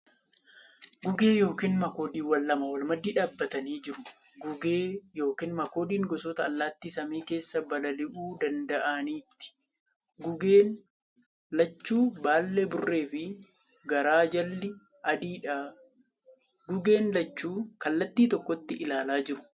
Guggee yookiin makoodiiwwan lama wal maddii dhaabbatanii jiru. Guggee yookiin makoodiin gosoota allaatti samii keessa balali'uu danda'aniiti. Guggeen lachuu baallee burree fi garaa jalli adiidha. Guggeen lachuu kallattii tokkotti ilaalaa jiru .